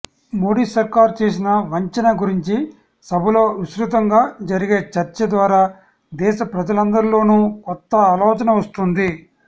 మోడీ సర్కారు చేసిన వంచన గురించి సభలో విస్తృతంగా జరిగే చర్చ ద్వారా దేశ ప్రజలందరిలోనూ కొత్త ఆలోచన వస్తుంది